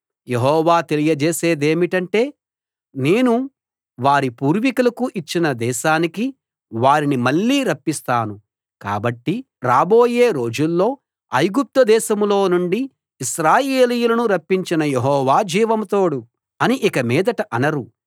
యెహోవా తెలియజేసేదేమిటంటే నేను వారి పూర్వీకులకు ఇచ్చిన దేశానికి వారిని మళ్ళీ రప్పిస్తాను కాబట్టి రాబోయే రోజుల్లో ఐగుప్తు దేశంలో నుండి ఇశ్రాయేలీయులను రప్పించిన యెహోవా జీవం తోడు అని ఇకమీదట అనరు